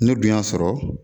Ne dun y'a sɔrɔ